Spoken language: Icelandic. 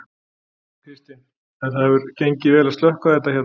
Kristinn: En það hefur gengið vel að slökkva þetta hérna?